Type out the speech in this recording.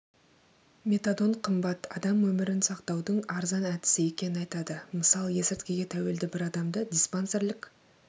метадон қымбат адам өмірін сақтаудың арзан әдісі екенін айтады мысалы есірткіге тәуелді бір адамды диспансерлік